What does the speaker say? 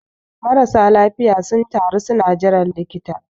marasa lafiya sun taru suna jiran likita